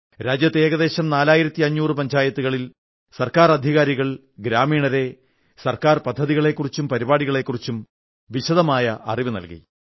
രാജ്യത്തെ ഏകദേശം 4500 പഞ്ചായത്തുകളിൽ ഗവൺമെന്റ് അധികാരികൾ ഗ്രാമീണരെ സർക്കാർ പദ്ധതികളെക്കുറിച്ചും പരിപാടികളെക്കുറിച്ചു വിശദമായ അറിവു നല്കി